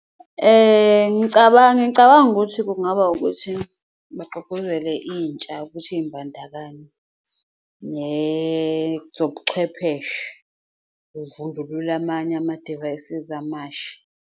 Ngicabanga ukuthi kungaba ukuthi bagqugquzele intsha ukuthi iy'mbandakanye nezobuchwepheshe, kuvundululwe amanye amadivayisizi amasha.